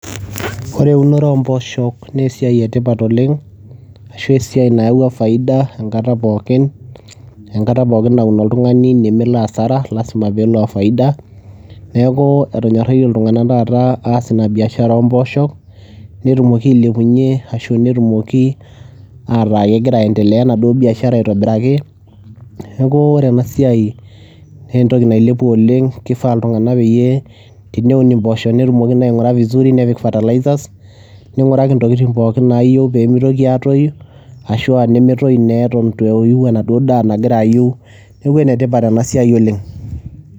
Ore eunore oo mbooshok naa esiai e tipat oleng' ashu esiai nayawua faida enkata pookin, enkata pookin naun oltung'ani nemelo hasara lazima peelo oo faida. Neeku etonyoraitie iltung'anak taata aas ina biashara oo mbooshok, ntumoki ailepunye ashu netumoki aataa kegira aendelea enaduo biashara aitobiraki. Neeku ore ena siai nee entoki nailepua oleng' kifaa iltung'anak peyie teneun impooshok netumoki naa aing'ura vizuri nepik fertilizers, ning'uraki intokitin pookin naayeu pee mitoki aatoyu ashu aa nemetoyu naa eton itu eyiu enaduo daa nagira ayiu. Neeku ene tipat ena siai oleng'.